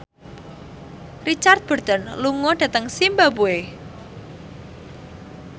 Richard Burton lunga dhateng zimbabwe